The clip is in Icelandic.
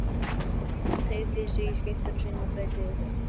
Hann teygði sig í skyrtuna sína og breiddi yfir höfuð.